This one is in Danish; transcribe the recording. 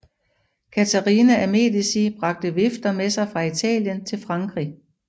Katharina af Medici bragte vifter med sig fra Italien til Frankrig